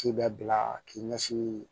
K'i bɛ bila k'i ɲɛsin